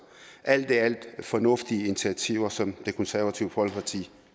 alt i alt fornuftige initiativer som det konservative folkeparti